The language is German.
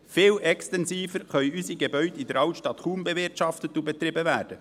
Viel extensiver können unsere Gebäude in der Altstadt kaum bewirtschaftet und betrieben werden.